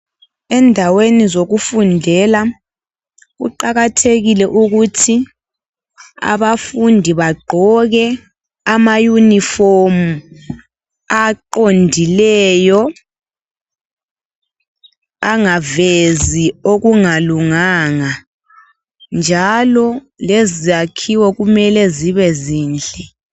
Endaweni zokufundela kuqakathekile ukuthi abafundi baqgoke ama yunifomu aqondileyo angavezi okungalunganga njalo lezakhiwo kumele zibe zinhle